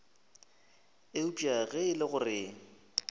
eupša ge e le gore